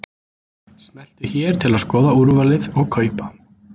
Smelltu hér til að skoða úrvalið og kaupa.